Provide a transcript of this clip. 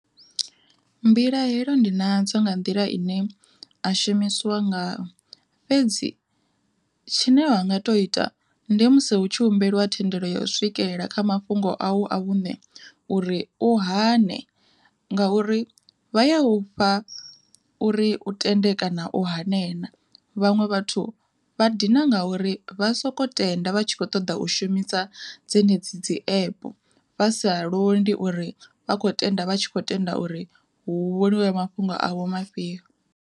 Mbilahelo ndi nadzo nga nḓila ine a shumisiwa ngao fhedzi tshine wa nga to ita ndi musi hu tshi humbeliwa thendelo ya u swikelela kha mafhungo a u a vhuṋe uri u hane. Ngauri vha ya ufha uri tende kana u hane na, vhaṅwe vhathu vha dina nga uri vha soko tenda vha tshi kho ṱoḓa u shumisa dzenedzi dzi app, vha sa londi uri vha khou tenda vha tshi kho tenda uri hu mafhungo avho mafhio.